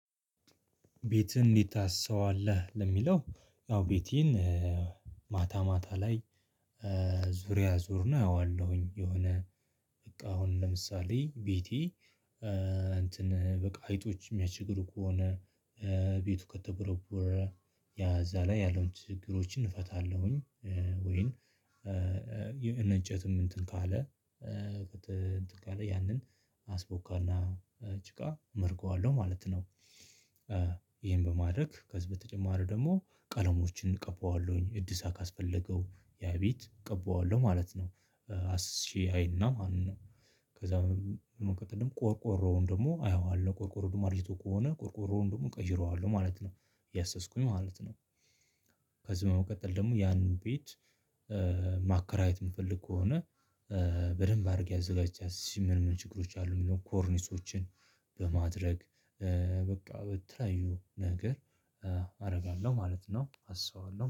ቤትህን እንዲታሰው አለህ ለሚለው ያው ቤቴን ማታ ማታ ላይ ዙሪያ እዞርና አየዋለሁኝ። የሆነ በቃ አሁን ለምሳሌ ቤቲ በቃ አይጦች የሚያስችግሩ ከሆነ ቤቱ ከተቦረቦረ ያዛ ላይ ያለውን ችግሮችን እፈታለሁኝ። ወይን እንጨትም እንትን ካለ ያንን አስቦካና ጭቃ እመርገዋለሁ ማለት ነው። ይሄን በማድረግ ከዚህ በተጨማሪ ደግሞ ቀለሞችን እቀበዋለሁኝ እድሳት ካስፈለገው ያ ቤት እቀበዋለሁ ማለት ነው። አስሼ አይና ማለት ነው። ከዛ ቆርቆሮውን ደግሞ አየዋለሁ ቆርቆሮውን አርጅቶ ከሆነ ቆርቆሮውን ደግሞ እቀይረዋለሁ ማለት ነው። ያሰስኩኝ ማለት ነው። ከዚ በመቀጥል ደግሞ ያንን ቤት ማከራየት የምፈልግ ከሆነ በደንብ አድርጌ አዘጋጅቼ አስሼ ምን ምን ችግሮች አሉ የሚለውን ኮርኒሶችን? በማድረግ በቃ በተለያዩ ነገር አደርጋለሁ ማለት ነው። አሰዋለሁ